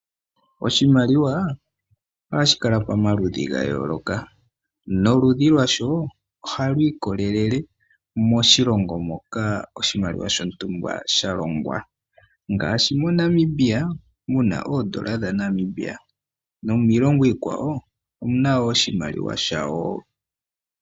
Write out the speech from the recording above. Oshimaliwa ohashi kala pamaludhi ga yooloka. Noludhi lwasho ohalu ikolele moshilongo moka oshimaliwa shontumba sha longwa ngaashi moNamibia mu na oodola dhaNamibia nomiilongo iikwawo omu na wo oshimaliwa shawo.